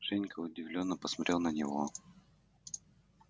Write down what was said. женька удивлённо посмотрел на него